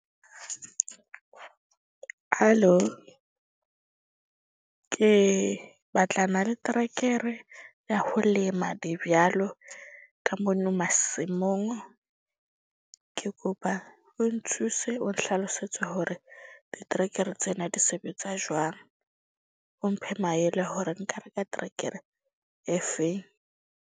Halo ke batlana le trekere ya ho lema ka mono masimong. Ke kopa o nthuse o nhlalosetse hore diterekere tsena di sebetsa jwang. O mphe maele hore nka reka trekere e feng.